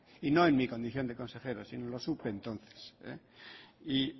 y no en mi condición de consejero sino lo supe entonces